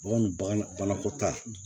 Bagan bagan banakɔta